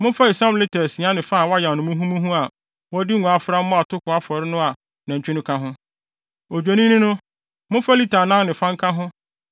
Momfa esiam lita asia ne fa a wɔayam no muhumuhu a wɔde ngo afra mmɔ atoko afɔre no a nantwi no ka ho. Odwennini no, momfa lita anan ne fa nka ho